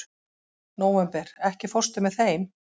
Nóvember, ekki fórstu með þeim?